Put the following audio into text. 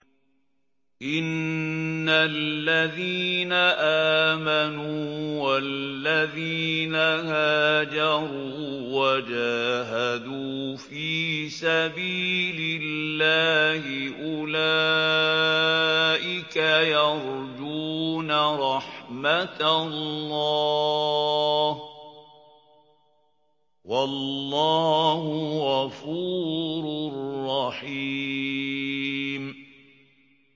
إِنَّ الَّذِينَ آمَنُوا وَالَّذِينَ هَاجَرُوا وَجَاهَدُوا فِي سَبِيلِ اللَّهِ أُولَٰئِكَ يَرْجُونَ رَحْمَتَ اللَّهِ ۚ وَاللَّهُ غَفُورٌ رَّحِيمٌ